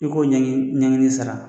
I ko ɲaŋini sara.